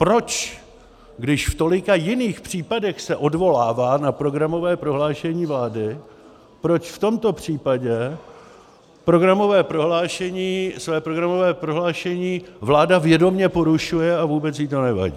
Proč, když v tolika jiných případech se odvolává na programové prohlášení vlády, proč v tomto případě své programové prohlášení vláda vědomě porušuje a vůbec jí to nevadí?